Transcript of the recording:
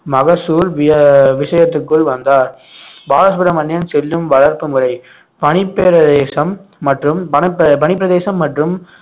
மகசூல் விய~ விஷயத்துக்குள் வந்தார் பாலசுப்ரமணியம் செல்லும் வளர்ப்பு முறை பனிப்பிரதேசம் மற்றும் வனப்ப~ பனிப்பிரதேசம் மற்றும்